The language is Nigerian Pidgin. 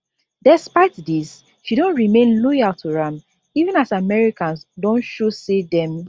despite dis she don remain loyal to am even as americans don show say dem